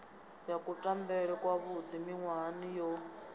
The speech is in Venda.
ya kutambele kwavhuḓi miṅwahani yo